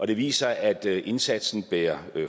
det viser at indsatsen bærer